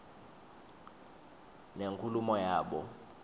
nenkulumo yabo